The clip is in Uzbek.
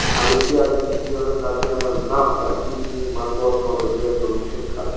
Olimpiada chempioni Tatyana Navka Putinning matbuot kotibiga turmushga chiqadi.